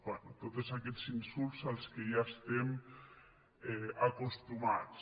bé tots aquests insults a què ja estem acostumats